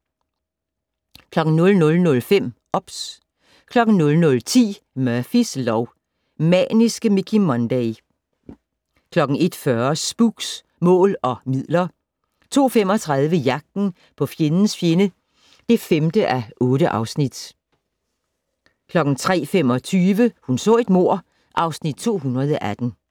00:05: OBS 00:10: Murphys lov: Maniske Mickey Munday 01:40: Spooks: Mål og midler 02:35: Jagten på fjendens fjende (5:8) 03:25: Hun så et mord (Afs. 218)